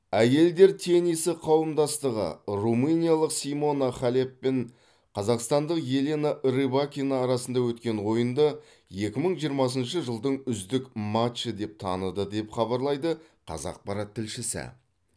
әйелдер теннисі қауымдастығы румыниялық симона халеп пен қазақстандық елена рыбакина арасында өткен ойынды екі мың жиырмасыншы жылдың үздік матчы деп таныды деп хабарлайды қазақпарат тілшісі